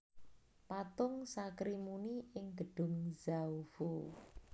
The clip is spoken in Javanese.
Patung Sakrimuni ing Gedhung Zhaofou